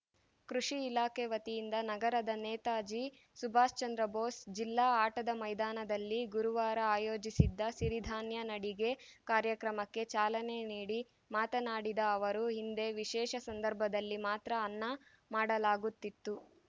ಕೃಷಿ ಇಲಾಖೆ ವತಿಯಿಂದ ನಗರದ ನೇತಾಜಿ ಸುಭಾಷ್‌ ಚಂದ್ರಬೋಸ್‌ ಜಿಲ್ಲಾ ಆಟದ ಮೈದಾನದಲ್ಲಿ ಗುರುವಾರ ಆಯೋಜಿಸಿದ್ದ ಸಿರಿಧಾನ್ಯ ನಡಿಗೆ ಕಾರ್ಯಕ್ರಮಕ್ಕೆ ಚಾಲನೆ ನೀಡಿ ಮಾತನಾಡಿದ ಅವರು ಹಿಂದೆ ವಿಶೇಷ ಸಂದರ್ಭದಲ್ಲಿ ಮಾತ್ರ ಅನ್ನ ಮಾಡಲಾಗುತ್ತಿತ್ತು